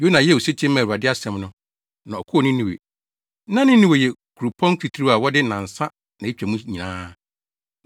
Yona yɛɛ osetie maa Awurade asɛm no, na ɔkɔɔ Ninewe. Na Ninewe yɛ kuropɔn titiriw a wɔde nnansa na etwa mu nyinaa.